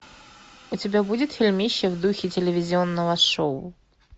у тебя будет фильмище в духе телевизионного шоу